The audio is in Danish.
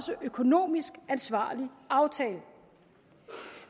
økonomisk ansvarlig aftale